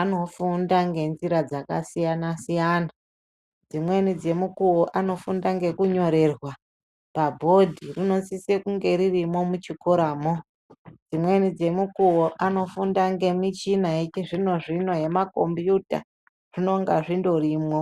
anofunda ngenzira dzakasiyana-siyana. Dzimweni dzemukuvo anofunda ngekunyorerwa pabhodhi rinosise kunge ririmo muchikoramo. Dzimweni dzemukuvo anofunda ngemichina yechizvino-zvino yemakombiyuta zvinonga zvindorimwo.